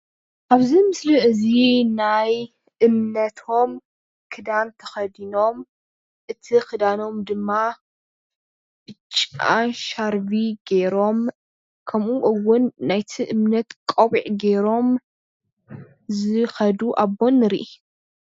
ኣብዚ ምስሊ እዚ ናይ እምነቶም ክዳን ተከዲኖም እቲ ክዳኖም ድማ ቢጫ ሻርቢ ገይሮም ከመኡ እውን ናይቲ እምነት ቆቢዕ ገይሮም ዝኸዱ ኣቦ ንረኢ።